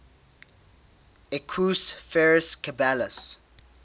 equus ferus caballus